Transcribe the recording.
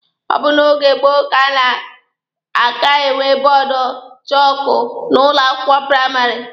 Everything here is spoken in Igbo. Ọ bụ na oge gboo ka a na-aka enwe bọọdụ chọọkụ n'ụlọ akwụkwọ praịmarị.